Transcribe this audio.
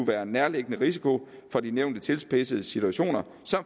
være en nærliggende risiko for de nævnte tilspidsede situationer